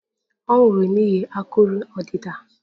Ọ nwụrụ n'ihi akụrụ ọdịda